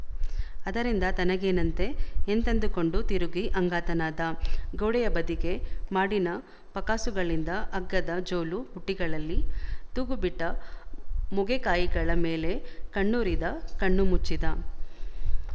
ಅದರಿಂದ ತನಗೇನಂತೆ ಎಂತಂದುಕೊಂಡು ತಿರುಗಿ ಅಂಗಾತನಾದ ಗೋಡೆಯ ಬದಿಗೆ ಮಾಡಿನ ಪಕಾಸುಗಳಿಂದ ಹಗ್ಗದ ಜೋಲುಬುಟ್ಟಿಗಳಲ್ಲಿ ತೂಗುಬಿಟ್ಟ ಮೊಗೆಕಾಯಿಗಳ ಮೇಲೆ ಕಣ್ಣೂರಿದ ಕಣ್ಣು ಮುಚ್ಚಿದ